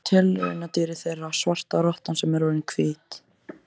Ég er tilraunadýrið þeirra, svarta rottan sem orðin er hvít.